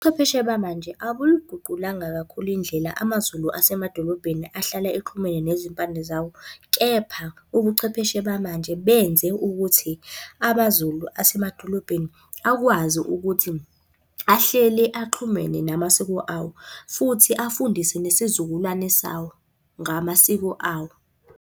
Ubuchwepheshe bamanje abuliguqulanga kakhulu indlela amaZulu asemadolobheni ahlala exhumene nezimpande zawo. Kepha ubuchwepheshe bamanje benze ukuthi amaZulu asemadolobheni akwazi ukuthi ahlele axhumene namasiko, futhi afundise nesizukulwane sawo ngamasiko awo.